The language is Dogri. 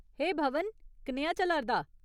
हे भवन, कनेहा चला'रदा ?